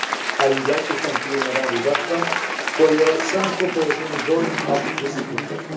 ages. I would like to thank you, Madam Łybacka, for your excellent cooperation in drawing up this report.